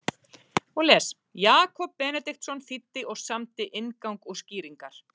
Jakob Benediktsson þýddi og samdi inngang og skýringar.